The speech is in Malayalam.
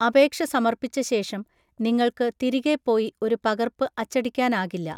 അപേക്ഷ സമർപ്പിച്ച ശേഷം, നിങ്ങൾക്ക് തിരികെ പോയി ഒരു പകർപ്പ് അച്ചടിക്കാനാകില്ല.